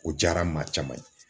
O diyara maa caman ye.